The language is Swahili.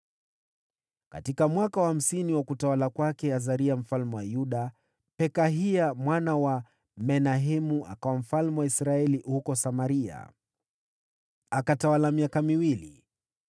Katika mwaka wa hamsini wa utawala wa Azaria mfalme wa Yuda, Pekahia mwana wa Menahemu akawa mfalme wa Israeli huko Samaria, akatawala miaka miwili.